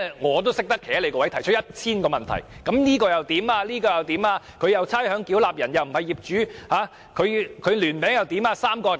我也懂得站在政府的位置提出 1,000 個問題，如果差餉繳納人不是業主怎麼辦？